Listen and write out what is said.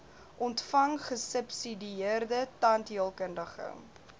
ontvang gesubsidieerde tandheelkundige